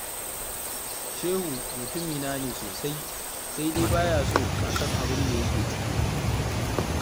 Shehu mutumina ne sosai, sai dai ba ya so a san abin da yake ciki